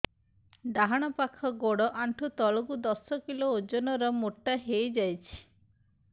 ଡାହାଣ ପାଖ ଗୋଡ଼ ଆଣ୍ଠୁ ତଳକୁ ଦଶ କିଲ ଓଜନ ର ମୋଟା ହେଇଯାଇଛି